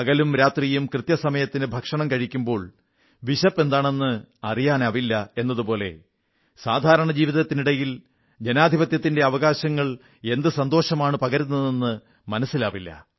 പകലും രാത്രിയും കൃത്യസമയത്തിന് ഭക്ഷണം കഴിക്കുമ്പോൾ വിശപ്പ് എന്താണെന്ന് അറിയാനാവില്ല എന്നതുപോലെ സാധാരണമായ ജീവിതത്തിനിടയിൽ ജനാധിപത്യത്തിന്റെ അവകാശങ്ങൾ എന്തു സന്തോഷമാണു പകരുന്നതെന്ന് മനസ്സിലാവില്ല